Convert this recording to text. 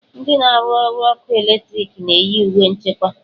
Ndị na-arụ ọrụ ọkụ eletriki ga-eyi uwe nchekwa.